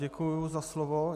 Děkuji za slovo.